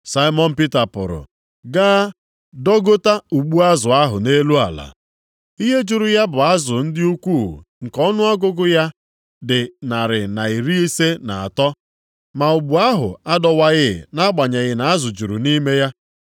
Saimọn Pita pụrụ gaa dọgota ụgbụ azụ ahụ nʼelu ala. Ihe juru ya bụ azụ ndị ukwuu nke ọnụọgụgụ ya dị narị na iri ise na atọ. Ma ụgbụ ahụ adọwaghị nʼagbanyeghị na azụ juru nʼime ya.